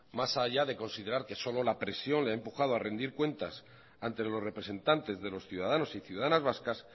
más allá de considerar que solo la presión le ha empujado a rendir cuentas ante los representantes de los ciudadanos y ciudadanas vascas